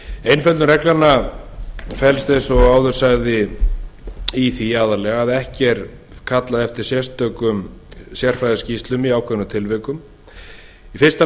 einföldun reglnanna felst eins og áður sagði aðallega í því að ekki er kallað eftir sérstökum sérfræðiskýrslu í ákveðnum tilvikum í fyrsta lagi